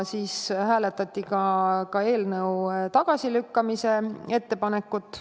Hääletati ka eelnõu tagasilükkamise ettepanekut.